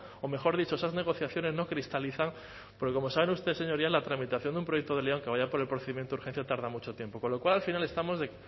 o mejor dicho esas negociaciones no cristalizan porque como saben ustedes señorías la tramitación de un proyecto de ley aunque vaya por el procedimiento urgencia tarda mucho tiempo con lo cual al final estamos